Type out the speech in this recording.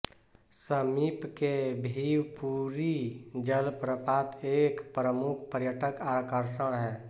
समीप के भिवपुरी जलप्रपात एक प्रमुख पर्यटक आकर्षण हैं